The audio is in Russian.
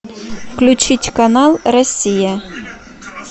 включить канал россия